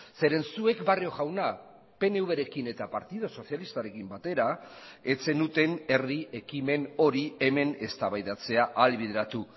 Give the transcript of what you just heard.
zeren zuek barrio jauna pnvrekin eta partidu sozialistarekin batera ez zenuten herri ekimen hori hemen eztabaidatzea ahalbideratu